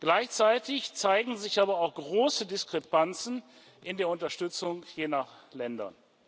Gleichzeitig zeigen sich aber auch große Diskrepanzen in der Unterstützung je nach Ländern.